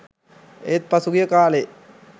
ඒත් පසුගිය කාලේ